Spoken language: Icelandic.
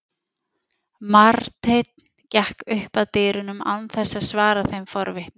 Marteinn gekk upp að dyrunum án þess að svara þeim forvitnu.